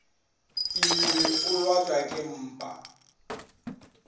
imile o lwatšwa ke mpa